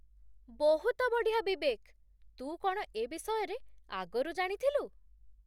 ବହୁତ ବଢ଼ିଆ, ବିବେକ! ତୁ କ'ଣ ଏବିଷୟରେ ଆଗରୁ ଜାଣିଥିଲୁ?